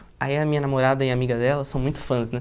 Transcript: Aí a minha namorada e a amiga dela, são muito fãs, né?